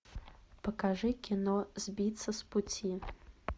покажи кино сбиться с пути